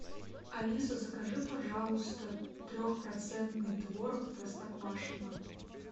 алиса закажи пожалуйста трехпроцентный творог простоквашино